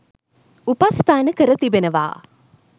උපස්ථාන කර තිබෙනවා.